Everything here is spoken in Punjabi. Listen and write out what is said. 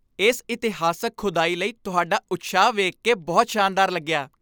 ਇਸ ਇਤਿਹਾਸਕ ਖੁਦਾਈ ਲਈ ਤੁਹਾਡਾ ਉਤਸ਼ਾਹ ਵੇਖ ਕੇ ਬਹੁਤ ਸ਼ਾਨਦਾਰ ਲੱਗਿਆ!